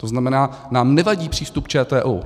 To znamená, nám nevadí přístup ČTÚ.